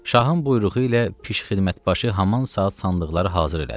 Şahın buyruğu ilə Pişxidmətbaşı haman saat sandıqları hazır elədi.